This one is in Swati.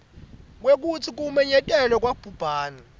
kwekutsi kumenyetelwa kwabhubhane